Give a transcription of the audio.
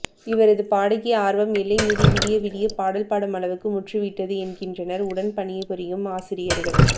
இவரது பாடகி ஆர்வம் எல்லைமீறி விடியவிடிய பாடல் பாடும் அளவுக்கு முற்றிவிட்டது என்கின்றனர் உடன் பணிபுரியும் ஆசிரியர்கள்